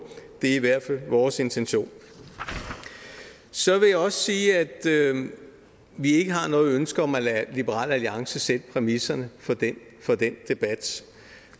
det er i hvert fald vores intention så vil jeg også sige at vi ikke har noget ønske om at lade liberal alliance sætte præmisserne for den debat